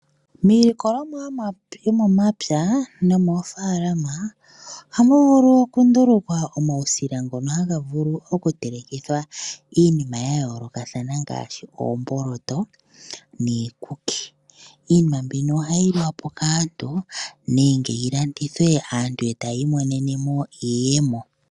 Miilikolomwa yomomapya nomoofaalama ohamu vulu okundulukwa omawusila ngono haga vulu okutelekithwa iinima yayoolokathana ngaashi oomboloto niikuki. Iinima mbyoka ohayi liwa kaantu nenge yilandithwe aantu yiimonene mo iiyemo.